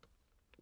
DR2